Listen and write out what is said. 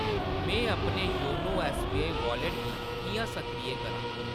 में अपने YONO SBI wallet गी किʼयां सक्रिय करां ?